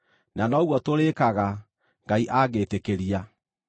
Na noguo tũrĩĩkaga, Ngai angĩĩtĩkĩria.